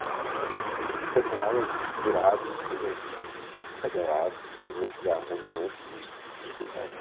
Eu fui do jeito que eu tava, virado, sem dormir, descabelado, fedendo a cigarro da noite, fui encontrar o cara.